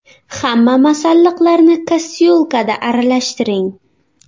Hamma masalliqlarni kastyulkada aralashtiring.